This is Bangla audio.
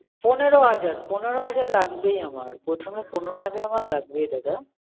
পনেরো হাজার, পনেরো হাজার লাগবেই আমার। প্রথমে পনেরো হাজার আমার লাগবেই দাদা।